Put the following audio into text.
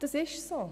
» Dem ist so.